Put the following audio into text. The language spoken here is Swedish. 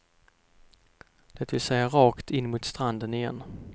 Det vill säga rakt in mot stranden igen.